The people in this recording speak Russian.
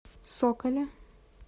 соколе